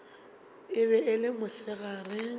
e be e le mosegare